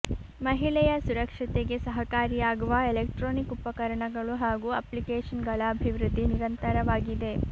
ಮಹಿಳೆಯ ಸುರಕ್ಷತೆಗೆ ಸಹಕಾರಿಯಾಗುವ ಎಲೆಕ್ಟ್ರಾನಿಕ್ ಉಪಕರಣಗಳು ಹಾಗೂ ಅಪ್ಲಿಕೇಷನ್ಗಳ ಅಭಿವೃದ್ಧಿ ನಿರಂತರವಾಗಿದೆ